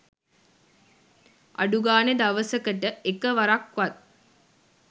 අඩුගානෙ දවසකට එක වරක්වත්